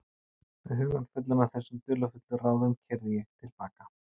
Með hugann fullan af þessum dularfullu ráðum keyrði ég til baka.